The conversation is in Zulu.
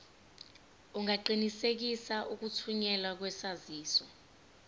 ungaqinisekisa ukuthunyelwa kwesaziso